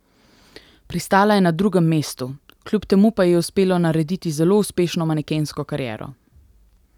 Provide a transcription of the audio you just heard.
Pristala je na drugem mestu, kljub temu pa ji je uspelo narediti zelo uspešno manekensko kariero.